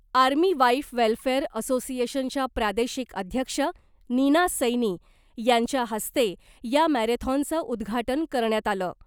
Army wife welfare असोसिएशनच्या प्रादेशिक अध्यक्ष नीना सैनी यांच्या हस्ते या मॅरेथॉनचं उद्घाटन करण्यात आलं .